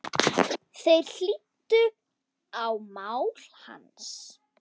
Þeir hlýddu á mál hans.